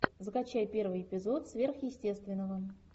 закачай первый эпизод сверхъестественного